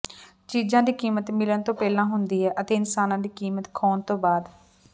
ਚੀਜਾਂ ਦੀ ਕੀਮਤ ਮਿਲਣ ਤੋਂ ਪਹਿਲਾਂ ਹੁੰਦੀ ਹੈ ਅਤੇ ਇਨਸਾਨਾਂ ਦੀ ਕੀਮਤ ਖੋਣ ਤੋਂ ਬਾਅਦ